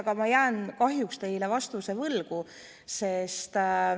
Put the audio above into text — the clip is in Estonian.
Aga ma kahjuks jään teile vastuse võlgu.